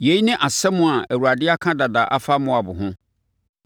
Yei ne asɛm a Awurade aka dada afa Moab ho.